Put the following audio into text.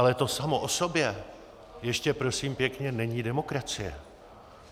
Ale to samo o sobě ještě prosím pěkně není demokracie.